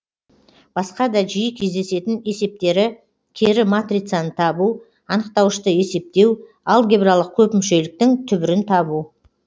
басқа да жиі кездесетін есептері кері матрицаны табу анықтауышты есептеу алгебралық көпмүшеліктің түбірін табу